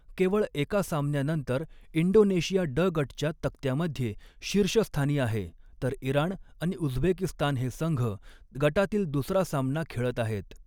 केवळ एका सामन्यानंतर इंडोनेशिया ड गटच्या तक्त्यामध्ये शीर्षस्थानी आहे, तर इराण आणि उझबेकिस्तान हे संघ गटातील दुसरा सामना खेळत आहेत.